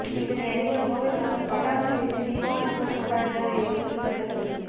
இதனை அறிந்த கோவை மக்கள் பட்டாசு வெடித்து தீபாவளி போல் கொண்டாடினார் என்பது குறிப்பிடத்தக்கது